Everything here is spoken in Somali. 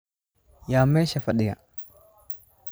Yaa meesha fadhiya?